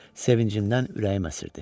Sevincindən ürəyi əsirdi.